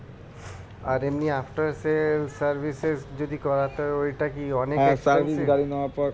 আর এমনি after sales service এর যদি করাতে হয়ে ওইটা কি